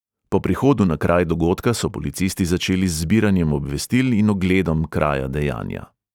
Po prihodu na kraj dogodka so policisti začeli z zbiranjem obvestil in ogledom kraja dejanja.